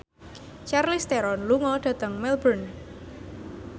Charlize Theron lunga dhateng Melbourne